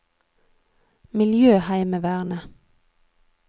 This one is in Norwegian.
miljøheimevernet